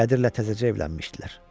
Qədirlə təzəcə evlənmişdilər.